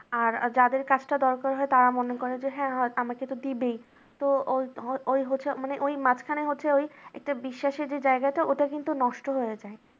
আর যাদের কাজটা দরকার হয় তারা মনে করে যে হ্যাঁ আমাকে তো দিবেই ওই তো ওই হচ্ছে মানে ওই মাঝখানে হচ্ছে একটা বিশ্বাসের যে জায়গাটা ওটা কিন্তু নষ্ট হয়ে যায়